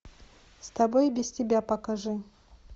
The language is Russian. с тобой и без тебя покажи